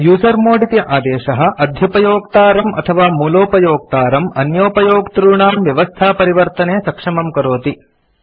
usermod इति आदेशः अध्युपयोक्तारं अथवा मूलोपयोक्तारं अन्योपयोक्तॄणां व्यवस्थापरिवर्तने सक्षमं करोति